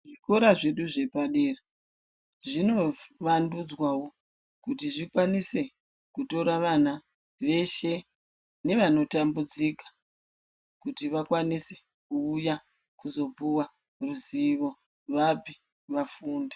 Zvikora zvedu zvepadera zvino vandudzwawo kuti zvikwanise kutora vana veshe nevano tambudzika kuti vakwanise kuuya kuzopiwa ruzivo vabve vafunda.